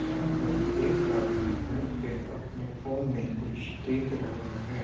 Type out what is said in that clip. यहाॅं पर एक आदमी बैठ के अपने फोन में कुछ देख रहा है।